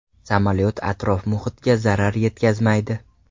Samolyot atrof-muhitga zarar yetkazmaydi.